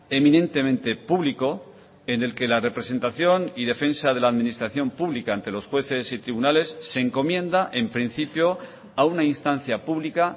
eminentemente público en el que la representación y defensa de la administración pública ante los jueces y tribunales se encomienda en principio a una instancia pública